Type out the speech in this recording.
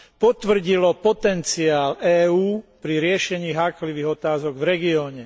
potvrdilo potenciál EÚ pri riešení háklivých otázok v regióne.